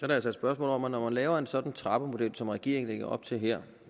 det altså et spørgsmål om at når man laver en sådan trappemodel som regeringen lægger op til her